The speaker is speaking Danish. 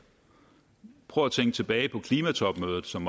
prøv at tænke tilbage på klimatopmødet som